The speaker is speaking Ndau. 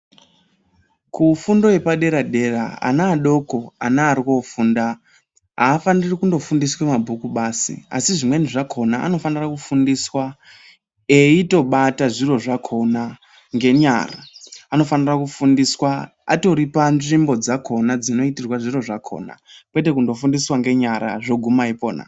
Kufundo yepa dera dera ana adoko ana ari kofunda afaniri kundo fundiswe mabhuku basi asi zvimweni zvakona anofanira kufundiswa eiito bata zviro zvakona nge nyara anofanira kufundiswa atori pa nzvimbo dzakona dzino itirwa zviro zvakona kwete kundo fundiswa nge nyara zvoguma ipona.